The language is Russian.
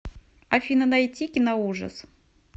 афина найти киноужас